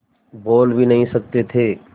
बोल भी नहीं सकते थे